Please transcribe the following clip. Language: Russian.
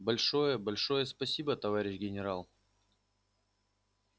большое большое спасибо товарищ генерал